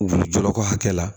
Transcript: U bɛ jɔrɔ ko hakɛ la